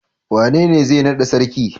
Wanene zai nada sarki?